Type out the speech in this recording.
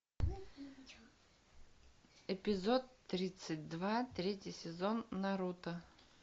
эпизод тридцать два третий сезон наруто